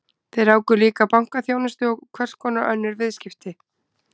Þeir ráku líka bankaþjónustu og hverskonar önnur viðskipti.